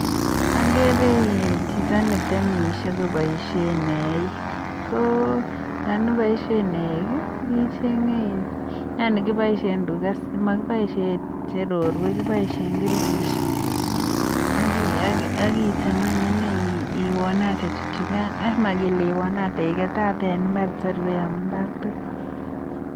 Okere chito netemishe koboishen eiik, ko yoon iboishen eiik icheng'e iin yaani kiboishen tukaa kokiboishen cherorwek kiboishen kirkishek ak item aany ineii ak iwonate tuchukan ak mokele iwonate iketate en imbar tor koyom imbar tukul.